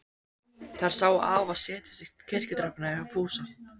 Þær sáu afa setjast á kirkjutröppurnar hjá Fúsa.